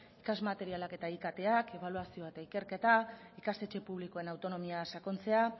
ikasmaterialak eta iktak ebaluazioa eta ikerketa ikastetxe publikoen autonomian sakontzea